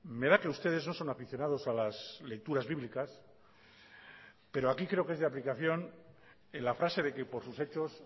me da que ustedes no son aficionados a las lecturas bíblicas pero aquí creo que es de aplicación en la frase de que por sus hechos